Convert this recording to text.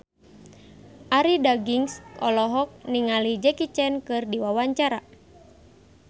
Arie Daginks olohok ningali Jackie Chan keur diwawancara